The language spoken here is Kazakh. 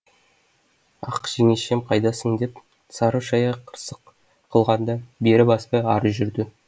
ақ жеңешем қайдасың деп сары шая қырсық қылғанда бері баспай ары жүрді